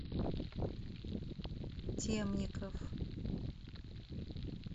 темников